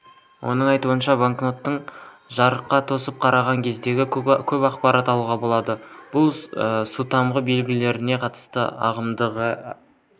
оның айтуынша банкнотты жарыққа тосып қараған кезде көп ақпарат алуға болады бұл сутамғы белгілерге қатысты ағымдағы